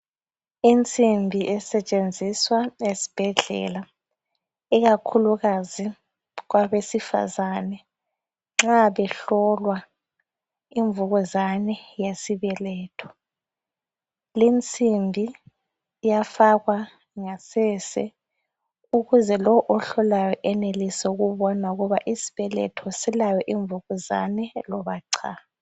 Insimbi esetshenziswa esibhedlela ikakhulukazi kwabesifazane nxa behlolwa imvukuzane yesibeletho. Linsimbi iyafakwa ngasese ukuze lo ohlolayo enelise ukubona ukuthi isibeletho silayo imvukuzane loba cha